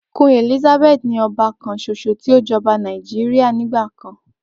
Queen Elizabeth ni ọba kanṣoṣo ti o jọba Nàìjíríà nigba kan.